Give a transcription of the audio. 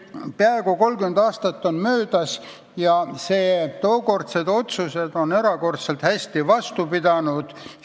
Peaaegu 30 aastat on möödas ja tookordsed otsused on erakordselt hästi vastu pidanud.